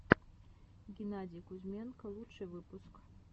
геннадий кузьменко лучший выпуск